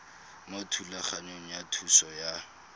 mo thulaganyong ya thuso y